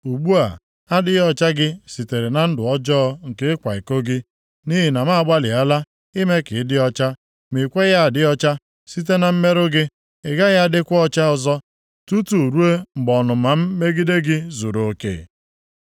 “ ‘Ugbu a, adịghị ọcha gị sitere na ndụ ọjọọ nke ịkwa iko gị. Nʼihi na m agbalịala ime ka ị dị ọcha, ma i kweghị adị ọcha site na mmerụ gị, ị gaghị adịkwa ọcha ọzọ tutu ruo mgbe ọnụma m megide gị zuruoke.